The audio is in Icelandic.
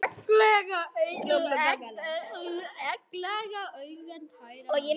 Egglaga augun tær af lygi.